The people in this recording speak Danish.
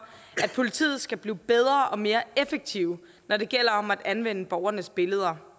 at politiet skal blive bedre og mere effektive når det gælder om at anvende borgernes billeder